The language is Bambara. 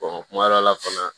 kuma dɔ la fana